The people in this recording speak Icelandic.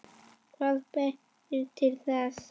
Hvað ber til þess?